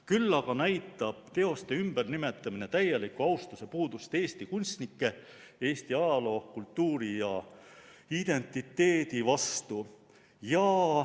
Küll aga näitab teoste ümbernimetamine täielikku austuse puudust Eesti kunstnike, Eesti ajaloo, kultuuri ja identiteedi vastu.